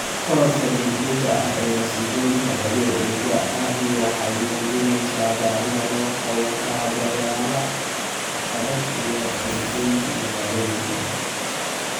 Korodhka degdega ah ee masiibooyinka dabiiciga ahi waxay muujinaysaa baahida loo qabo kaabayaal adag iyo qorshaynta magaalooyinka.